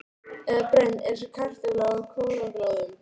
Eða brennd eins og kartafla á kolaglóðum.